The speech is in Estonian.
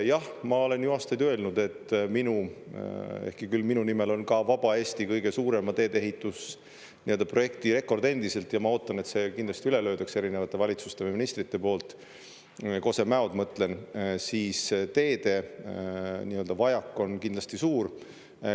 Jah, ma olen ju aastaid öelnud, et ehkki küll minu nimel on ka vaba Eesti kõige suurema teedeehitusprojekti rekord endiselt, ja ma ootan, et see kindlasti üle löödaks erinevate valitsuste või ministrite poolt – Kose-Mäod mõtlen –, siis teede nii-öelda vajak on kindlasti suur.